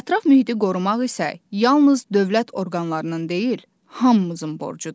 Ətraf mühiti qorumaq isə yalnız dövlət orqanlarının deyil, hamımızın borcudur.